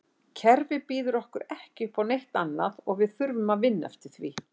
Kerfið býður okkur ekki uppá neitt annað og við þurfum að vinna eftir því.